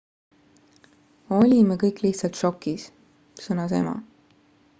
"""olime kõik lihtsalt šokis," sõnas ema.